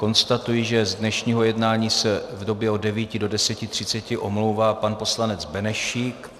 Konstatuji, že z dnešního jednání se v době od 9 do 10.30 omlouvá pan poslanec Benešík.